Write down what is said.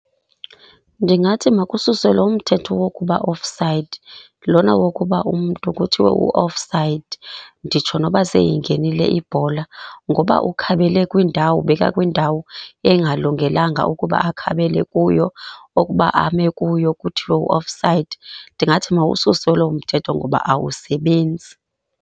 Ndingathi makususwe lo mthetho wokuba off side, lona wokuba umntu kuthiwe u-off side nditsho noba seyingenile ibhola, ngoba ukhabele kwindawo, bekakwindawo engalungelanga ukuba akhabele kuyo okuba ame kuyo kuthiwe u-off side. Ndingathi mawususwe loo mthetho ngoba awusebenzi.